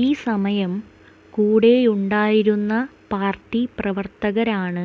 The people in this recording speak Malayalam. ഈ സമയം കൂടെയുണ്ടായിരുന്ന പാര്ട്ടി പ്രവര്ത്തകരാണ്